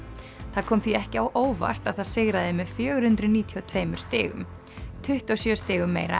það kom því ekki á óvart að það sigraði með fjögur hundruð níutíu og tveimur stigum tuttugu og sjö stigum meira